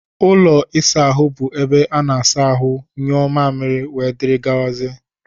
Ụlọ ịsa ahụ bụ ebe ana-asa ahụ, nyuo mmamịrị, wdg.